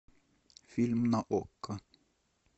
фильм на окко